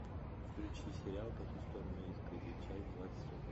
включи сериал по ту сторону изгороди часть двадцать один